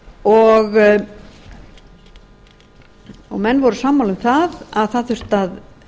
á litinn menn voru sammála um að það þyrfti að